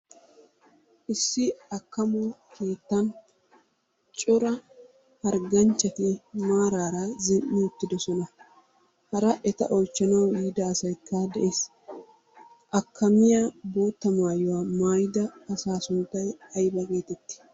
Issi akkammo keettan cora hargganchchati maaraara zin"i uttiddossona. Hara eta oychchanawu yiida asaykka de'ees. Akkamiya boottaa maayuwa maayida asaa sunttay ayba gettetti?